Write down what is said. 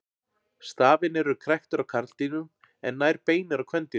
Stafirnir eru kræktir á karldýrum en nær beinir á kvendýrum.